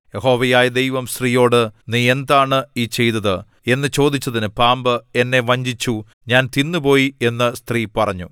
യഹോവയായ ദൈവം സ്ത്രീയോട് നീ എന്താണ് ഈ ചെയ്തത് എന്നു ചോദിച്ചതിന് പാമ്പ് എന്നെ വഞ്ചിച്ചു ഞാൻ തിന്നുപോയി എന്ന് സ്ത്രീ പറഞ്ഞു